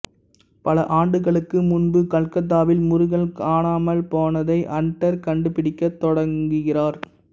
பல ஆண்டுகளுக்கு முன்பு கல்கத்தாவில் முருகன் காணாமல் போனதை அன்டர் கண்டுபிடிக்கத் தொடங்குகிறார்